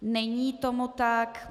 Není tomu tak.